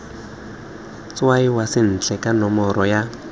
tshwaiwa sentle ka nomoro ya